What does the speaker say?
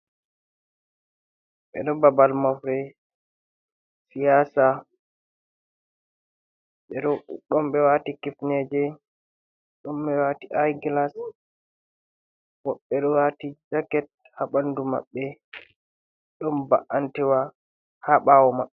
Ɓe ɗo babal mofre siyasa, ɗon ɓe waati kifneje, aigilas woɓɓe waati jaket ha ɓandu maɓɓe, ɗon ba’antewa ha ɓawo maɓɓe.